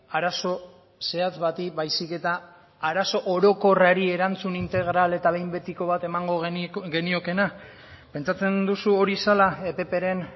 arazo zehatz bati baizik eta arazo orokorrari erantzun integral eta behin betiko bat emango geniokeena pentsatzen duzu hori zela ppren